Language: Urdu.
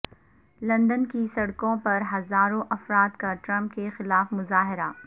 لندن کی سڑکوں پر ہزاروں افراد کا ٹرمپ کے خلاف مظاہرہ